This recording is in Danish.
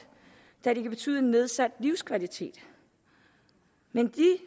da det kan betyde en nedsat livskvalitet men de